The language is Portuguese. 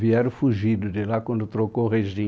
Vieram fugidos de lá quando trocou regime.